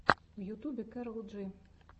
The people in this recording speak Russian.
в ютьюбе кэрол джи